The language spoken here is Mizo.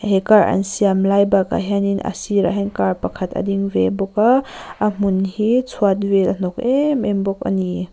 he car an siam lai bakah hian in a sirah hian car pakhat a ding ve bawk a a hmun hi chhuat vel a hnawk em em bawk ani.